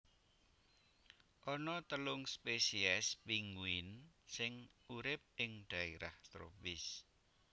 Ana telung spesies pinguin sing urip ing dhaérah tropis